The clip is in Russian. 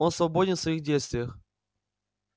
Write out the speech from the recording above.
он свободен в своих действиях